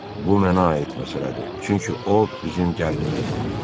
bu mənə aid məsələdir, çünki o, bizim gəlinimizdir.